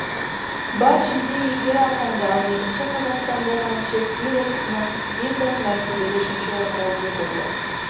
бас жүлде иегері атанды ал екінші қазақстандық әнші серік нақыспеков мәртебелі үшінші орынға ие болды